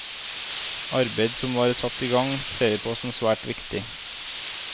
Arbeidet som var satt i gang, ser vi på som svært viktig.